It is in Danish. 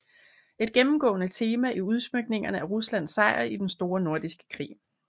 Et gennemgående tema i udsmykningerne er Ruslands sejr i Den Store Nordiske Krig